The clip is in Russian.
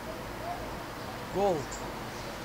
голд